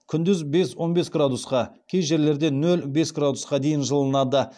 күндіз бес он бес градусқа кей жерлерде нөл бес градусқа дейін жылынады